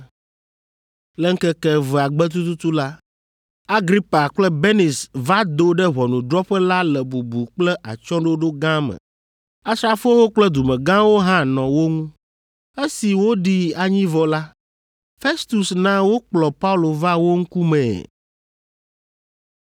Le ŋkeke evea gbe tututu la, Agripa kple Benis va do ɖe ʋɔnudrɔ̃ƒe la le bubu kple atsyɔ̃ɖoɖo gã me. Asrafowo kple dumegãwo hã nɔ wo ŋu. Esi woɖi anyi vɔ la, Festus na wokplɔ Paulo va wo ŋkumee.